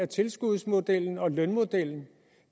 tilskudsmodellen og lønmodellen